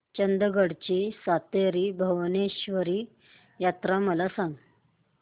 चंदगड ची सातेरी भावेश्वरी यात्रा मला सांग